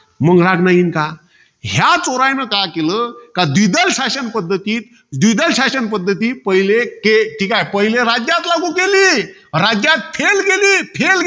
मंग राग न येईन का? ह्या चोरानं काय केलं? का द्विदल शासन पद्धतीत, द्विदल शासन पद्धतीत पहिले के. ठीकाय. राज्यात लागू केली. राज्यात fail गेली. fail गेली.